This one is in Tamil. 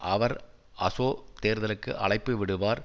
அவர் அசொ தேர்தலுக்கு அழைப்பு விடுவார்